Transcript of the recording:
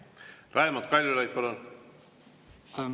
Raimond Kaljulaid, palun!